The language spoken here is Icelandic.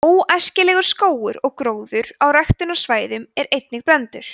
„óæskilegur“ skógur og gróður á ræktunarsvæðum er einnig brenndur